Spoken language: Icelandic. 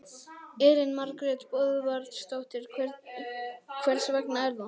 Elín Margrét Böðvarsdóttir: Hvers vegna er það?